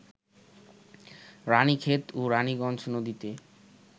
রাণীক্ষেত ও রাণীগঞ্জ নদীতে